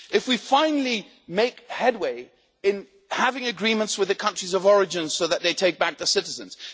if we finally make headway in having agreements with the countries of origin so that they take back the citizens